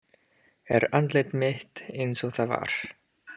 Er andlit mitt einsog það var.